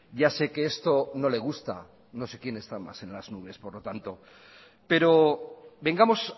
ya sé que esto no le gusta no sé quién está más en las nubes por lo tanto pero vengamos